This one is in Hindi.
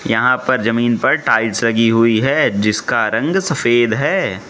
यहां पर जमीन पर टाइल्स लगी हुई है जिसका रंग सफेद है।